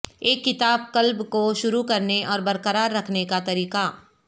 ایک کتاب کلب کو شروع کرنے اور برقرار رکھنے کا طریقہ